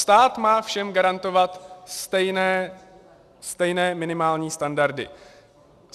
Stát má všem garantovat stejné minimální standardy.